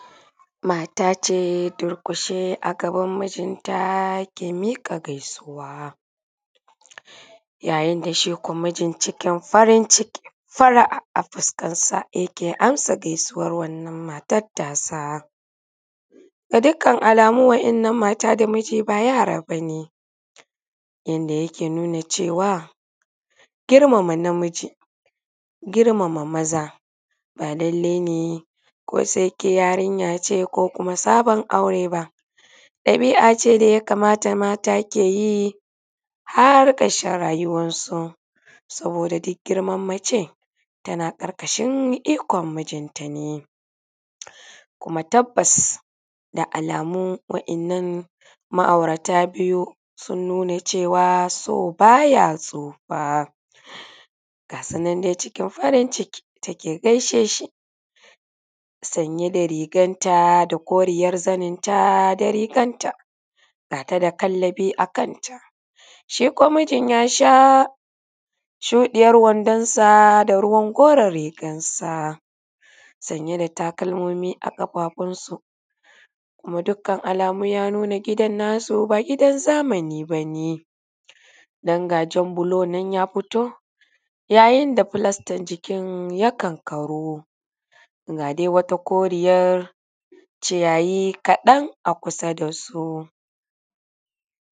Mata ce durƙushe a gabaninnta ke miƙa gaisuwa yayin da shi kuwa mijin cikin farin ciki far'a yake amsa gaisuwar matan tasa da dukkan alamu wannan mata da miji ba yara ba ne, Yadda yake nuna girmama namiji girmama maza ba lallai ne ko ke yarinya ce ko sabon aure dabi'a ce da ya kamata mata ke yi har ƙarshen rayuwarsu. Saboda duk girman mace tana ƙarƙashin ikon mijinta ne, kuma tabbas da alamun waɗannan ma'aurata biyu su nuna cewa so baya tsufa ga su nan cikin farin ciki tana gaishe shi sanye da rigarta da koriyar zanenta da rigarta ga ta da kallabi a kanta su kuwa mijin ya sha shuɗiyar wandonsa da ko kuma koren wandonsa saye da takalmomi a ƙafafunsu alamu ya nuna gidan na su ba gidan zamani ba ne don ga jan bulo nan ya fito yayin da falastan ya kankaru ga wata koriyar ciyayi kadan a kusa da su.